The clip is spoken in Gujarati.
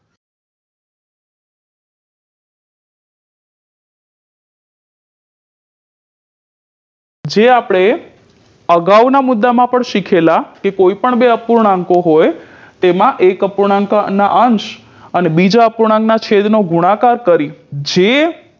જે આપણે અગાવ ના મુદ્દા માં શીખેલા કે કોઈ પણ બે અપૂર્ણાંકો હોય તેમાં એક અપૂર્ણાંકના અંશ અને બીજા અપૂર્ણાંક ના છેદ નો ગુણાકાર કરી જે